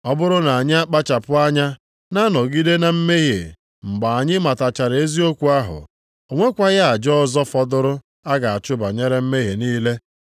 Ọ bụrụ na anyị akpachapụ anya na-anọgide na mmehie mgbe anyị matachara eziokwu ahụ, o nwekwaghị aja ọzọ fọdụrụ a ga-achụ banyere mmehie niile.